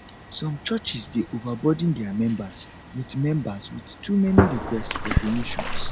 some churches dey overburden dia members with members with too many request for donations